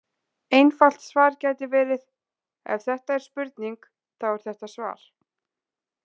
Einfalt svar gæti verið: Ef þetta er spurning, þá er þetta svar.